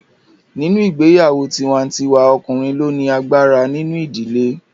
Nínú ìgbéyàwó tiwa-n-tiwa ọkùnrin ló ni agbára nínú ìdílé